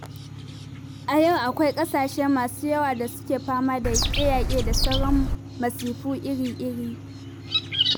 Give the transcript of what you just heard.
A yau, akwai ƙasashe masu yawa da suke fama da yaƙe-yaƙe da sauran masifu iri-iri.